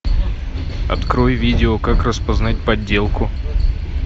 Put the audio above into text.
открой видео как распознать подделку